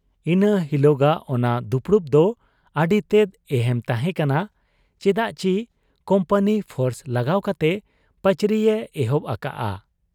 ᱤᱱᱟᱹ ᱦᱤᱞᱚᱜᱟᱜ ᱚᱱᱟ ᱫᱩᱯᱩᱲᱩᱵ ᱫᱚ ᱟᱹᱰᱤᱛᱮᱫ ᱮᱦᱮᱢ ᱛᱟᱦᱮᱸ ᱠᱟᱱᱟ ᱪᱮᱫᱟᱜᱪᱤ ᱠᱩᱢᱯᱟᱹᱱᱤ ᱯᱷᱳᱨᱥ ᱞᱟᱜᱟᱣ ᱠᱟᱛᱮ ᱯᱟᱹᱪᱨᱤᱭᱮ ᱮᱦᱚᱵ ᱟᱠᱟᱜ ᱟ ᱾